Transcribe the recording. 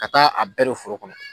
Ka taa a bɛɛ don foro kɔnɔ.